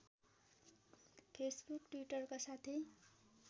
Facebook टि्वटरका साथै